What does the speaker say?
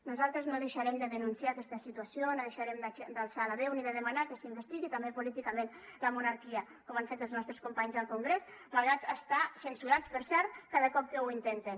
nosaltres no deixarem de denunciar aquesta situació no deixarem d’alçar la veu ni de demanar que s’investigui també políticament la monarquia com han fet els nostres companys al congrés malgrat estar censurats per cert cada cop que ho intenten